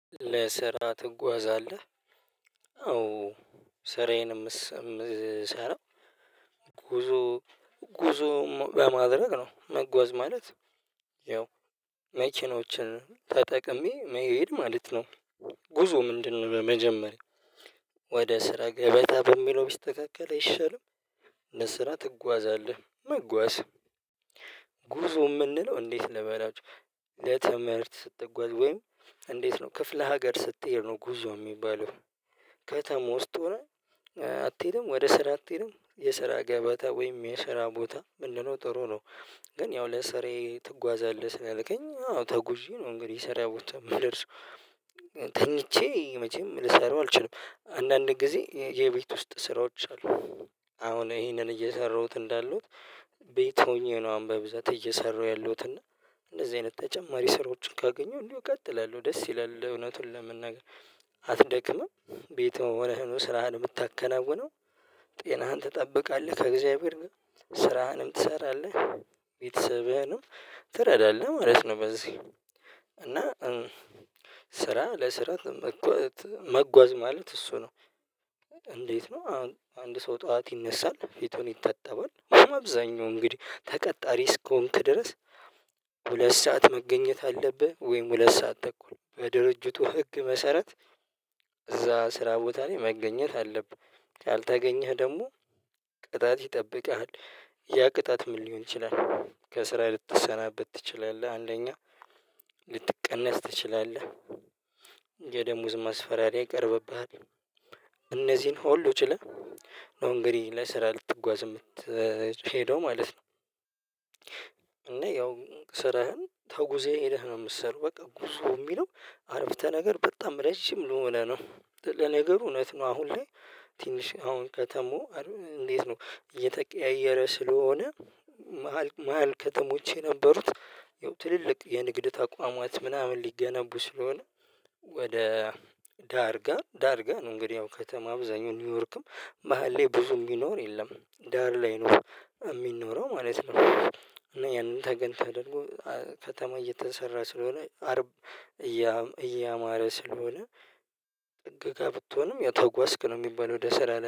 ለስራ ትጓዛለህ አዎ ስራዬንም ምሰራ ጉዞ ጉዞ በማድረግ ነው መጓዝ ማለት ያው መኪኖችን ተጠቅሜ መሄድ ማለት ነው። ጉዞ ምንድነው? መጀመሪያ ወደ ስራ ገበታ በሚለው ቢስተካከል አይሻልም። ለስራ ትጓዛለህ መጓዝ ጉዞ የምንለው እንዴት? ለበላችሁ ለትምህርት ስትጓዝ ወይም እንዴት ነው ክፍለ ሀገር ስትሄድ ነው ጉዞ የሚባለው። ከተማ ዉስጥ ሆነህ አትሄድም ወደ ስራ አትሄድም የስራ ገበታ ወይም የስራ ቦታ ብንለው ጥሩ ነው። ግን ያው ለስራዬ ትጓዛለህ ስላልከኝ አዎ ተጉዤ ነው እንግዲህ ስራ ቦታ የምደርሰው። ተኝቼ መቼም ልሰራው አልችልም አንዳንድ ጊዜ የቤት ውስጥ ስራዎች አሉ። አሁን ይሄንን እየሰራሁት እንዳሉት ቤት ሆኜ ነው አሁን በብዛት እየሰራሁ ያለሁት። እና እንደዚህ አይነት ተጨማሪ ስራዎችን ካገኘሁ እንደው እቀጥላለሁ። ደስ ይላል እውነቱን ለመናገር። አትደክምም ቤትህ ሆነህ ነው ስራህን የምታከናውነው? ጤናህን ትጠብቃለህ ከእግዚአብሔር ጋር ስራህንም ትሰራለህ ቤተሰብህንም ትረዳለህ ማለት ነው። በዚህ እና ስራ ለስራ መጓዝ ማለት እሱ ነው። እንዴት ነው አንድ ሰው ጠዋት ይነሳል ፊቱን ይታጠባል አብዛኛው እንግዲህ ተቀጣሪ እስከሆንክ ድረስ። ሁለት ሰዓት መገኘት አለብህ ወይም ሁለት ሰዓት ተኩል በድርጅቱ ህግ መሰረት እዛ ስራ ቦታ ላይ መገኘት አለብህ። ካልተገኘህ ደግሞ ቅጣት ይጠብቅሃል። ያ ቅጣት ምን ሊሆን ይችላል? ከስራ ልትሰናበት ትችላለህ። አንደኛ ልትቀነስ ትችላለህ። የደሞዝ ማስፈራሪያ ይቀርብብሃል። እነዚህን ሁሉ ችለህ ነው እንግዲህ ለስራ ልትጓዝ የምትሄደው ማለት ነው። እና ያው ስራህን ተጉዘህ ሄደህ ነው የምትሰራው በቃ ጉዞ የሚለው አረፍተ ነገር በጣም ረጅም ለሆነ ነው። ለነገሩ እውነት ነው። አሁን ላይ ትንሽ አሁን ከተማው እንዴት ነው እየተቀያየረ ስለሆነ። መሃል ከተሞች የነበሩት ያው ትልልቅ የንግድ ተቋማት ምናምን ሊገነቡ ስለሆነ። ወደ ዳርጋ ዳርጋ ነው። እንግዲህ ያው ከተማ አብዛኛው ኒውዮርክም መሃል ላይ ብዙ የሚኖር የለም ዳር ላይ ነው የሚኖረው ማለት ነው። እና ያንን ተገን ተደርጎ ከተማ እየተሰራ ስለሆነ አርብ እያማረ ስለሆነ። ጥግ ጋር ብትሆንም ያው ተጓዝክ ነው የሚባለው። ወደ ስራ